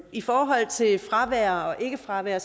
i forhold til fravær og ikke fravær